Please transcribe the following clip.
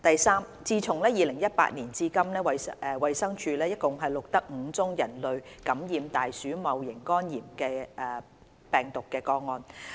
三自2018年至今，衞生署共錄得5宗人類感染大鼠戊型肝炎病毒個案。